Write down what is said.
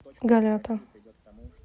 голята